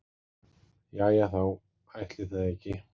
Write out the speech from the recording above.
Jæja þá, ætli það ekki.